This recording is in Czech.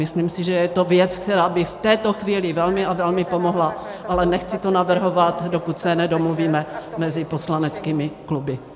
Myslím si, že je to věc, která by v této chvíli velmi a velmi pomohla, ale nechci to navrhovat, dokud se nedomluvíme mezi poslaneckými kluby.